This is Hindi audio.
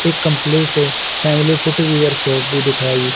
एक कंप्लीट है फैमिली फुटवियर शॉप भी दिखाइ--